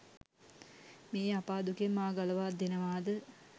මේ අපා දුකෙන් මා ගලවා දෙනවාද?